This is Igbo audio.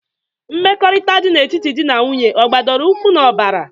Mmekọrịta dị na etiti dị na nwunye ọ gbadoro ụkwụ n'ọbara?